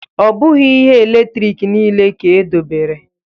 Ọ bụghị ihe eletrik niile ka edobere